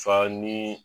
Fa ni